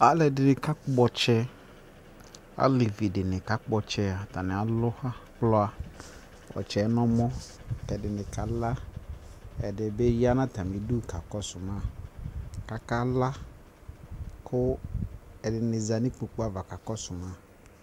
Alɛde ne ka kpɔ ɔltsɛ, alevi de ne ka kpɔ ɔtsɛAtane alu ɔtsɛɛ no ɔmɔ ke ɛde ne ka laƐde be ya na atane du ka kɔso ma kaka la ko ɛde ne za no ikpoku ava ka kɔso ma